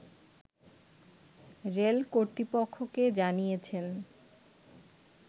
rail কর্তৃপক্ষকে জানিয়েছেন